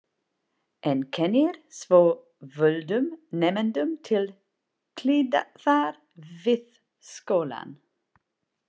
En kennir svo völdum nemendum til hliðar við skólann.